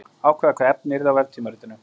Ákveða hvaða efni yrði á veftímaritinu.